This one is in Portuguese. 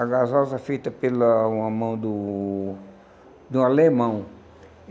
A gasosa feita pela uma mão do do alemão.